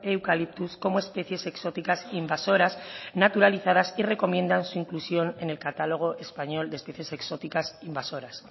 eucaliptus como especies exóticas invasoras naturalizadas y recomiendan su inclusión en el catálogo español de especies exóticas invasoras